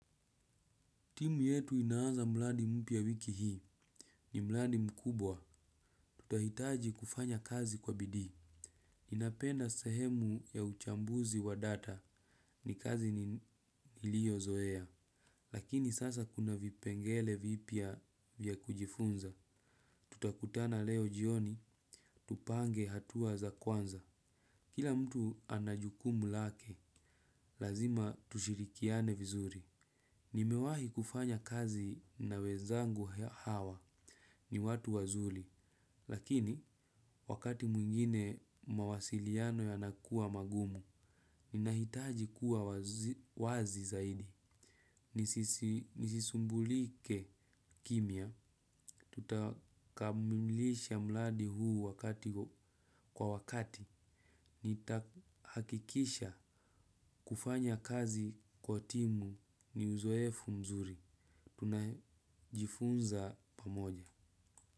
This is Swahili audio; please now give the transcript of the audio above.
Timu yetu inaaza mradi mpya wiki hii. Ni mradi mkubwa. Tutahitaji kufanya kazi kwa bidii. Ninaapenda sehemu ya uchambuzi wa data ni kazi niliyozoea. Lakini sasa kuna vipengele vipya vya kujifunza. Tutakutana leo jioni, tupange hatua za kwanza. Kila mtu ana jukumu lake, lazima tushirikiane vizuri. Nimewahi kufanya kazi na wezangu hawa. Ni watu wazuri, lakini wakati mwingine mawasiliano yanakuwa magumu, ninahitaji kuwa wazi zaidi. Nisisumbulike kimya. Tutakamilisha mradi huu kwa wakati, nitahakikisha kufanya kazi kwa timu ni uzoefu mzuri. Tunajifunza pamoja.